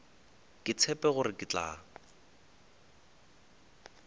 ke tshepe gore ke tla